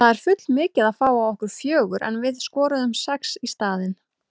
Það er full mikið að fá á okkur fjögur en við skoruðum sex í staðinn.